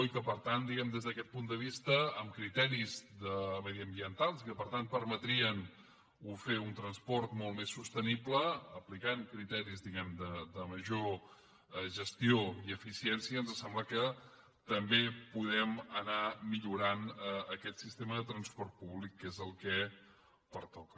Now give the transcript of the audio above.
i des d’aquest punt de vista amb criteris mediambientals i que per tant permetrien fer un transport molt més sostenible aplicant hi criteris de major gestió i eficiència ens sembla que també podem anar millorant aquest sistema de transport públic que és el que pertoca